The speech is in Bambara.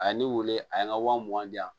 A ye ne weele a ye n ka wa mugan di yan